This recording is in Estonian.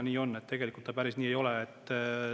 Tegelikult päris nii ei ole.